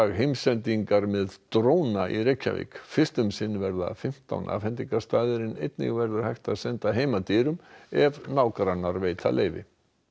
heimsendingar með dróna í Reykjavík fyrst um sinn verða fimmtán áfangastaðir afhendingarstaðir en einnig verður hægt að senda heim að dyrum ef nágrannar veita leyfi